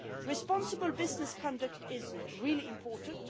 Responsible business conduct is really important.